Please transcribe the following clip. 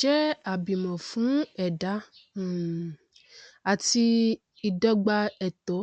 jẹ àbímọ fún ẹdá um àti ìdọgba ẹtọ